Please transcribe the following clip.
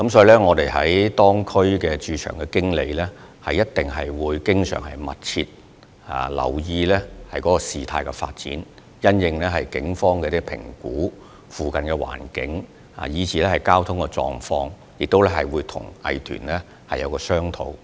因此，各區駐場經理會密切留意事態發展及警方對鄰近環境和交通狀況的評估，亦會與有關藝團進行商討。